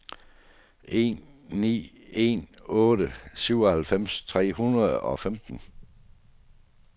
en ni en otte syvoghalvfems tre hundrede og femten